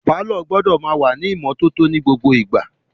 Pàlọ́ gbọ́dọ̀ máa wà ní ìmọ́tótó ní gbogbo ìgbà